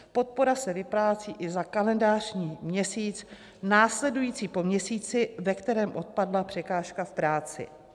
Podpora se vyplácí i za kalendářní měsíc následující po měsíci, ve kterém odpadla překážka v práci.